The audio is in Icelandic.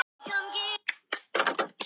Bjarni giskar á skel.